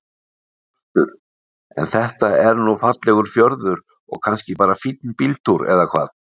Hjörtur: En þetta er nú fallegur fjörður og kannski bara fínn bíltúr eða hvað?